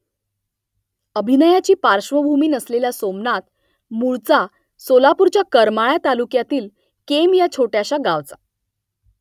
अभिनयाची पार्श्वभूमी नसलेला सोमनाथ मूळचा सोलापूरच्या करमाळा तालुक्यातील केम या छोट्याशा गावचा